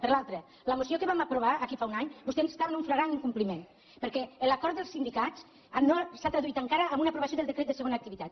per l’altre de la moció que vam aprovar aquí fa un any vostè està en un flagrant incompliment perquè l’acord dels sindicats no s’ha traduït encara en una aprovació del decret de segona activitat